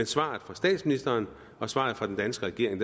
svaret fra statsministeren og svaret fra den danske regering